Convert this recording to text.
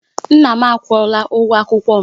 Nna m akwụola ụgwọ akwụkwọ m